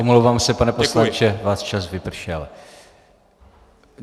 Omlouvám se, pane poslanče, váš čas vypršel.